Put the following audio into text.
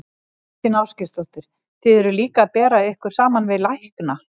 Þóra Kristín Ásgeirsdóttir: Þið eruð líka að bera ykkur saman við lækna?